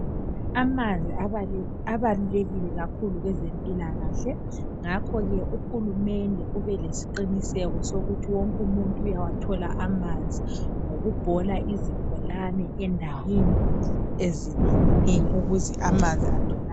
Amanzi abalu abalulekile kwezempilakahle ngakho ke uhulumende ubelesiqiniseko sokuthi wonke umuntu uyawathola amanzi ngokubhola izibholane endaweni ezinenginengi ukuze amanzi atholakale